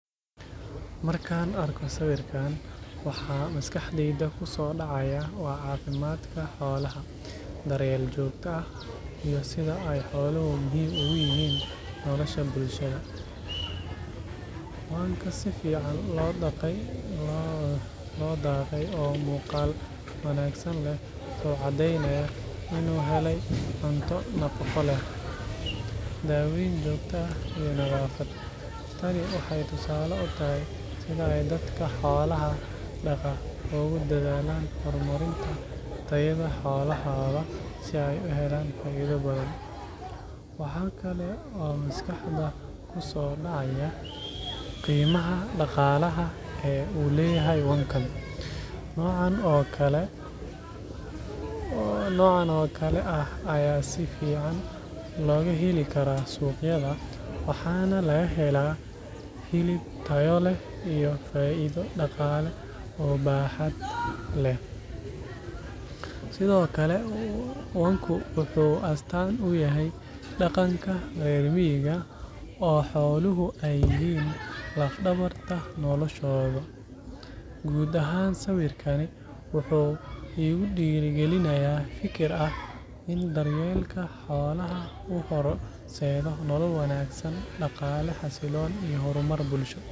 Markaan arko sawirkan, waxa maskaxdayda ku soo dhacaya waa caafimaadka xoolaha, daryeel joogto ah, iyo sida ay xooluhu muhiim ugu yihiin nolosha bulshada. Wanka si fiican loo dhaqay oo muuqaal wanaagsan leh wuxuu caddeynayaa in uu helay cunto nafaqo leh, daaweyn joogto ah, iyo nadaafad. Tani waxay tusaale u tahay sida ay dadka xoolaha dhaqaa ugu dadaalaan horumarinta tayada xoolahooda si ay u helaan faa’iido badan. Waxa kale oo maskaxda ku soo dhacaya qiimaha dhaqaalaha ee uu leeyahay wankan. Noocan oo kale ah ayaa si fiican looga heli karaa suuqyada, waxaana laga helaa hilib tayo leh iyo faa’iido dhaqaale oo baaxad leh. Sidoo kale, wanku wuxuu astaan u yahay dhaqanka reer miyiga, oo xooluhu ay yihiin laf-dhabarta noloshooda. Guud ahaan, sawirkani wuxuu igu dhiirrigelinayaa fikir ah in daryeelka xoolaha uu horseedo nolol wanaagsan, dhaqaale xasilloon, iyo horumar bulsho.